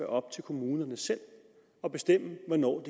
op til kommunerne selv at bestemme hvornår